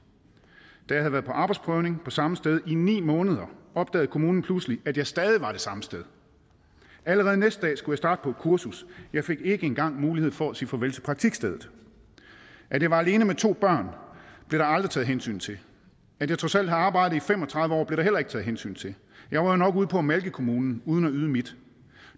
da jeg havde været på arbejdsprøvning på samme sted i ni måneder opdagede kommunen pludselig at jeg stadig var det samme sted allerede næste dag skulle jeg starte på et kursus jeg fik ikke engang mulighed for at sige farvel til praktikstedet at jeg var alene med to børn blev der aldrig taget hensyn til at jeg trods alt havde arbejdet i fem og tredive år blev der heller ikke taget hensyn til jeg var jo nok ude på at malke kommunen uden at yde mit